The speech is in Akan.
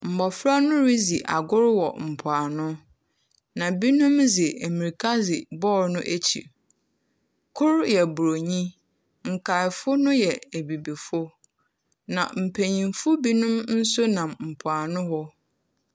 Mmɔfra no redzi agorɔ wɔ mpoano. Na binom dze mmirika di bɔɔl no akyi. Koro yɛ buroni. Nkaeɛfo no yɛ abibifo. Na mpanyinfo binos nso nam mpoano hɔ.